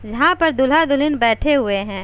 यहाँ पर दूल्हा-दुल्हिन बैठे हुए हैं।